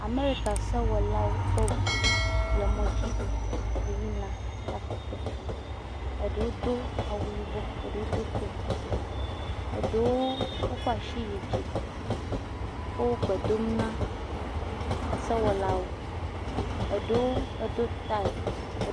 Amerika sewɔlawo ƒe ŋuŋu le mɔ dzi heyina takpekpe, eɖewo do awu yibɔ eɖewo do koti, Eɖewo wokɔ asi yi dzi wogbe dom na esewɔlawo, eɖewo edo tayi ed.